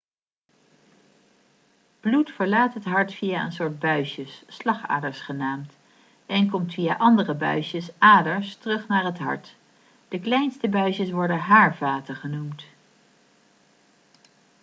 bloed verlaat het hart via een soort buisjes slagaders genaamd en komt via andere buisjes aders terug naar het hart de kleinste buisjes worden haarvaten genoemd